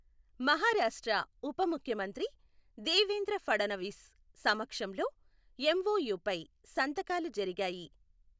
మహారాష్ట్ర ఉపముఖ్యమంత్రి దేవేంద్ర ఫడణవీస్ సమక్షంలో ఎంఓయూపై సంతకాలు జరిగాయి.